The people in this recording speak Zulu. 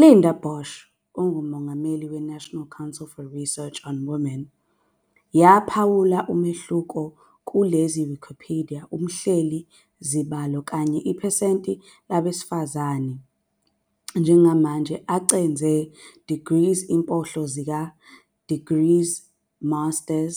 Linda Basch, ongumongameli we-National Council for Research on Women, yaphawula umehluko kulezi Wikipedia umhleli izibalo kanye iphesenti labesifazane njengamanje acedzele degrees impohlo sika, degrees master